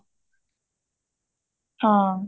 ਹਾਂ